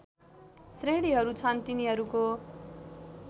श्रेणीहरू छन् तिनीहरूको